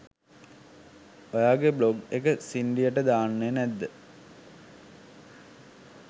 ඔයාගේ බ්ලොග් එක සින්ඩියට දාන්නේ නැද්ද?